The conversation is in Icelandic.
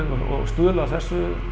og stuðlað að þessu